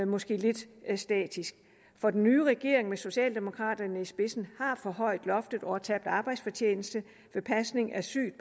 måske lidt statisk for den nye regering med socialdemokraterne i spidsen har forhøjet loftet over tabt arbejdsfortjeneste ved pasning af sygt